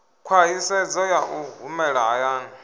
khwaṱhisedzo ya u humela hayani